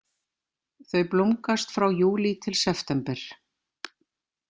Þau blómgast frá júlí til september.